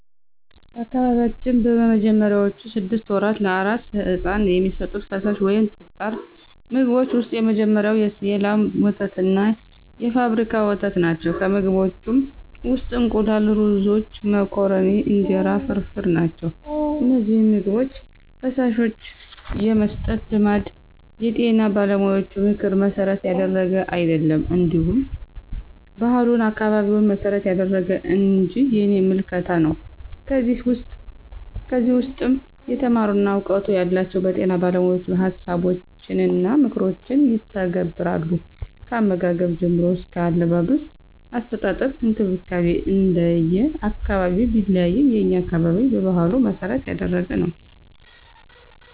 በአካባቢያችን በመጀመሪያዎቹ ስድስት ወራት ለአራስ ሕፃን የሚሰጡት ፈሳሽ ወይም ጠጣር ምግቦች ውስጥ የመጀመሪያው የላም ወተትና የፋብሪካ ወተት ናቸው፣ ከምግቦችም ውስጥ እንቁላል፣ ሩዞች፣ መኮረኒ፣ እንጀራ ፍርፍር ናቸው። እነዚህን ምግቦች/ፈሳሾች የመስጠት ልማድ የጤና ባለሙያዎችን ምክር መሠረት ያደረገ አይደለም እንዲሁ ባህሉን፣ አካባቢውን መሰረት ያደረገ እንጅ የኔ ምልከታ ነው። ከዚህ ውስም የተማሩና እውቀቱ ያላቸው በጤና ባለሞያዎችን ሀሳቦችንና ምክሮችን ይተገብራሉ። ከአመጋገብ ጀምሮ አስከ አለባበስ፣ አስተጣጠብ እንክብካቤ እንደየ አካባቢው ቢለያይም የኛ አካባቢ በባህሉ መሰረት ያደረገ ነው።